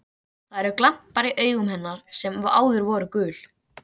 Það eru glampar í augum hennar sem áður voru gul.